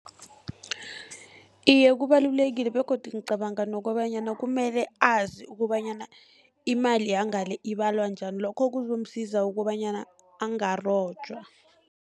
Iye, kubalulekile begodu ngicabanga nokobanyana kumele azi kobanyana, imali yangale ibalwa njani. Lokho kuzomsiza kobanyana angarojwa.